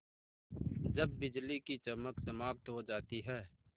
जब बिजली की चमक समाप्त हो जाती है